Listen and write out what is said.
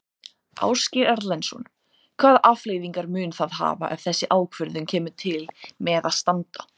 Ásgeir Erlendsson: Hvaða afleiðingar mun það hafa ef þessi ákvörðun kemur til með að standa?